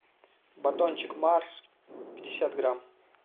батончик марс пятьдесят грамм